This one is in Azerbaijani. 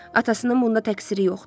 Atasının bunda təqsiri yoxdur.